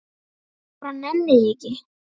Ég bara nenni því ekki.